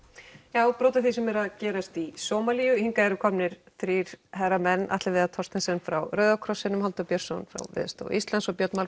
já brot af því sem er að gerast í Sómalíu hingað eru komnir þrír herramenn Atli Viðar Thorsteinsson frá Rauða krossinum Halldór Björnsson frá Veðurstofu Íslands og Björn